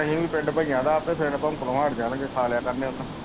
ਆਹੀਂ ਵੀ ਪਿੰਡ ਬਈਆਂ ਦਾ ਆਪੇ ਫੇਰ ਭੌਕਣੇ ਹਟ ਜਾਣਗੇ ਖਾ ਲਿਆ ਕਰਨਗੇ ਉਹਨੂੰ।